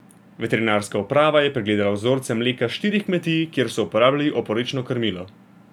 Veterinarska uprava je pregledala vzorce mleka s štirih kmetij, kjer so uporabljali oporečno krmilo.